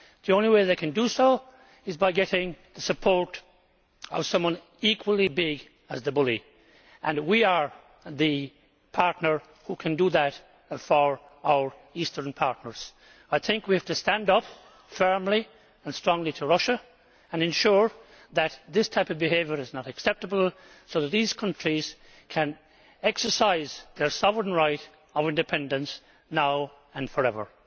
back. The only way that they can do so is by getting the support of someone equally big as the bully and we are the partner who can do that for our eastern partners. I think we have to stand up firmly and strongly to Russia and ensure that this type of behaviour is not acceptable so that these countries can exercise their sovereign right to independence now and forever.